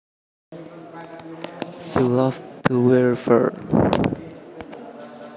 She loved to wear fur